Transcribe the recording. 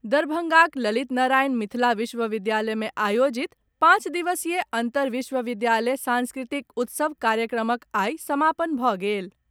दरभंगाक ललित नारायण मिथिला विश्वविद्यालय मे आयोजित पांच दिवसीय अंतर विश्वविद्यालय सांस्कृतिक उत्सव कार्यक्रमक आइ समापन भऽ गेल।